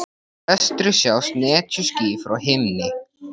Í vestri sjást netjuský á himni.